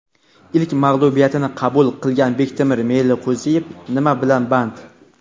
Ilk mag‘lubiyatini qabul qilgan Bektemir Meliqo‘ziyev nima bilan band?.